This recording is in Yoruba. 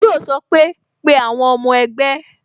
Yo sọ pé "Pe àwọn ọmọ ẹgbẹ́